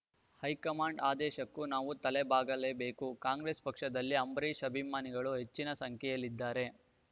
high command ಆದೇಶಕ್ಕೂ ನಾವು ತಲೆಬಾಗಲೇಬೇಕು ಕಾಂಗ್ರೆಸ್ ಪಕ್ಷದಲ್ಲಿ ಅಂಬರೀಷ್ ಅಭಿಮಾನಿಗಳು ಹೆಚ್ಚಿನ ಸಂಖ್ಯೆಯಲ್ಲಿದ್ದಾರೆ